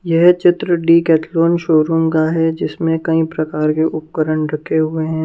यह चित्र Decathlon showroom का है जिसमें कई प्रकार के उपकरण रखे हुए हैं ।